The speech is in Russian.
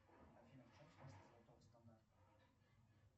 афина в чем смысл золотого стандарта